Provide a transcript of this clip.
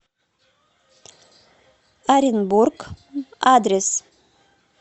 оренбург адрес